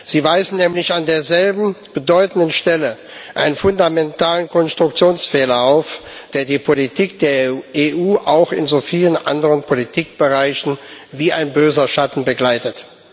Sie weisen nämlich an derselben bedeutenden Stelle einen fundamentalen Konstruktionsfehler auf, der die Politik der EU auch in so vielen anderen Politikbereichen wie ein böser Schatten begleitet.